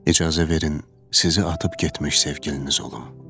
İcazə verin sizi atıb getmiş sevgiliniz olum.